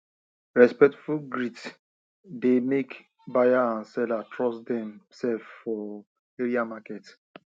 respectful greet dey make buyer and seller trust dem sef for area market